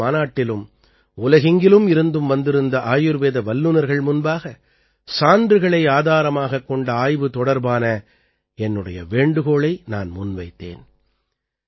ஆயுர்வேத மாநாட்டிலும் உலகெங்கிலும் இருந்தும் வந்திருந்த ஆயுர்வேத வல்லுநர்கள் முன்பாக சான்றுகளை ஆதாரமாகக் கொண்ட ஆய்வு தொடர்பான என்னுடைய வேண்டுகோளை நான் முன்வைத்தேன்